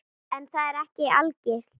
En það er ekki algilt.